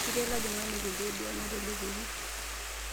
Ketii olojing'ani kule duo naatelepuoki.